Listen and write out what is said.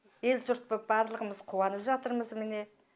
ел жұрт боп барлығымыз қуанып жатырмыз міне